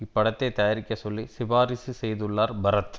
இப்படத்தை தயாரிக்கச் சொல்லி சிபாரிசு செய்துள்ளார் பரத்